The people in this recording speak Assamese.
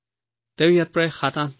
তেওঁ ইয়াত প্ৰায় ৭৮ দিন চিকিৎসাধীন আছিল